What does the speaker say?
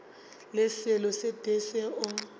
le selo se tee seo